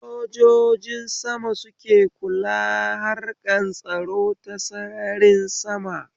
Sojojin sama suke kula harkan tsaro ta sararin sama